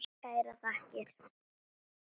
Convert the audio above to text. Kærar þakkir